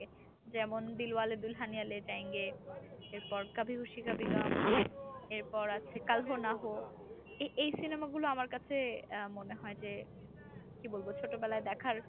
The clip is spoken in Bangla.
যেমন এরপর কাভি খুশি কাভি গাম এরপর আছে কাল হো না হো এ এই সিনেমা গুলো আমার কাছে আহ মনে হয় যে কি বলবো ছোট বেলায় দেখার